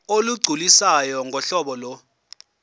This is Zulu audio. olugculisayo ngohlobo lo